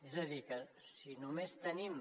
és a dir que si només tenim